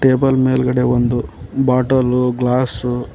table ಮೇಲ್ಗಡೆ ಒಂದು bottle glass--